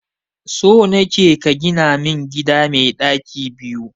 So nake ka gina min gida mai daki biyu.